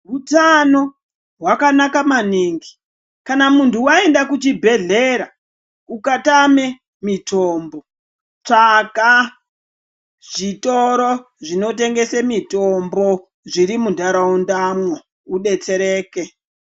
Hutano hwakanaka maningi kana muntu waenda ku chibhedhlera uka tame mitombo tsvaga zvitoro zvino tengese mitombo zviri mu ndaraunda mwo udetsereke.